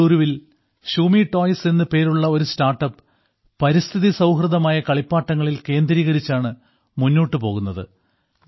ബാംഗ്ലൂരിൽ Shumee toys എന്നു പേരുള്ള ഒരു സ്റ്റാർട്ടപ് പരിസ്ഥിതി സൌഹൃദമായ കളിപ്പാട്ടങ്ങളിൽ കേന്ദ്രീകരിച്ചാണ് മുന്നോട്ടു പോകുന്നത്